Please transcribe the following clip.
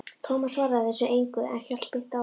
Tómas svaraði þessu engu, en hélt beint áfram